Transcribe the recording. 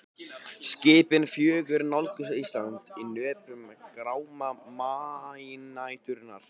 Skipin fjögur nálguðust Ísland í nöprum gráma maínæturinnar.